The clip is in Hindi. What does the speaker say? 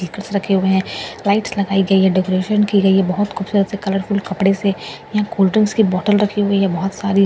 रखे हुए हैं लाइटस लगाई गई है डेकरैशन की गई है बहुत खूबसूरत से कलरफुल कपड़े से यहाँ कोल्ड ड्रिंक की बोतल रखी हुई हैं बहुत सारी मुझे कुछ --